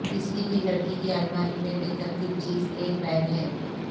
کسی بھی لڑکی کی الماری میں بے ترتیب چیز ایک بیگ ہے